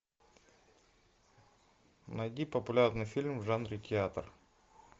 найди популярный фильм в жанре театр